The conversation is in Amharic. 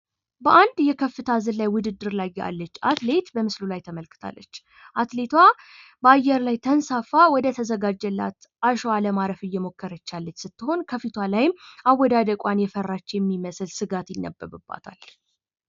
በአንድ የከፍታ ዝላይ ውድድር ላይ ያለች አትሌት በምስሉ ላይ ተመልክታለች። አትሌቷ በአየር ላይ ተንሳፈው ወደ ተዘጋጀለት አሸዋ ለማረፍ እየሞከረ ያለች ስትኾን ከፊቷ ላይ አወዳደቋን የፈራች የሚመስል ስጋት ይጠበቅባታል።